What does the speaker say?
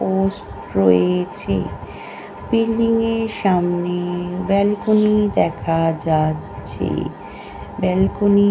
post রয়েছে building এর সামনে ব্যালকনি দেখা যাচ্ছে ব্যালকনি --